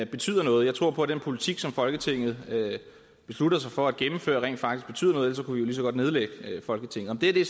betyder noget jeg tror på at den politik som folketinget beslutter sig for at gennemføre rent faktisk betyder noget for ellers kunne vi lige så godt nedlægge folketinget er det